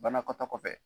Banakɔta kɔfɛ